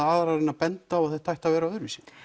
aðrar en að benda á að þetta ætti að vera öðruvísi